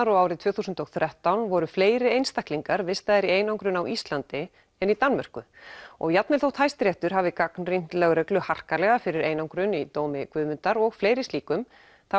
og árið tvö þúsund og þrettán voru fleiri einstaklingar vistaðir í einangrun á Íslandi en í Danmörku og jafnvel þótt Hæstiréttur hafi gagnrýnt lögreglu harkalega fyrir einangrun í dómi Guðmundar og fleiri slíkum